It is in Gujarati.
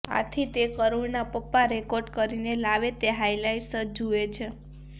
આથી તે કરૂણના પપ્પા રેકોર્ડ કરીને લાવે તે હાઈલાઈટ્સ જ જુએ છે